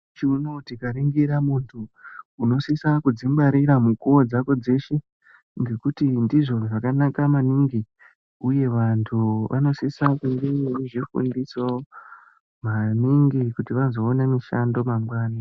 Mukuwo unowu tikaningira muntu unosisa kuzvingwarira munguwa dzako dzeshe Ngekuti ndizvo zvakanaka maningi ngekuti vantu vanosisa kunge vane zvirwere maningi kuti vazoona mishando mangwani.